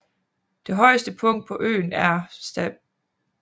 Det højeste punkt på øen er St